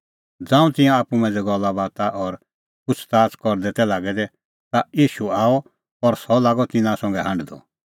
ज़ांऊं तिंयां आप्पू मांझ़ै गल्लाबाता और पुछ़ज़ाच़ करदै तै लागै दै ता ईशू आअ और सह लागअ तिन्नां संघै हांढदअ